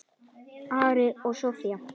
Ari og Soffía.